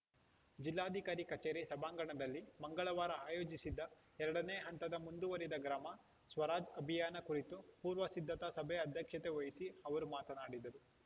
ಜಿಲ್ಲಾಧಿಕಾರಿ ಕಚೇರಿ ಸಭಾಂಗಣದಲ್ಲಿ ಮಂಗಳವಾರ ಆಯೋಜಿಸಿದ್ದ ಎರಡನೇ ಹಂತದ ಮುಂದುವರಿದ ಗ್ರಾಮ ಸ್ವರಾಜ್‌ ಅಭಿಯಾನ ಕುರಿತು ಪೂರ್ವ ಸಿದ್ಧತಾ ಸಭೆ ಅಧ್ಯಕ್ಷತೆ ವಹಿಸಿ ಅವರು ಮಾತನಾಡಿದರು